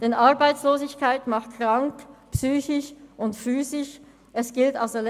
Denn Arbeitslosigkeit macht psychisch und physisch krank.